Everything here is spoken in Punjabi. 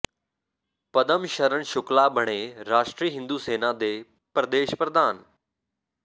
ਪਦਮ ਸ਼ਰਨ ਸ਼ੁਕਲਾ ਬਣੇ ਰਾਸ਼ਟਰੀ ਹਿੰਦੂ ਸੈਨਾ ਦੇ ਪ੍ਰਦੇਸ਼ ਪ੍ਰਧਾਨ